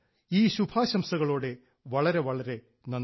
ഈ ശുഭാശംസകളോടെ വളരെ വളരെ നന്ദി